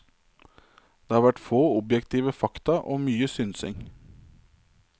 Det har vært få objektive fakta og mye synsing.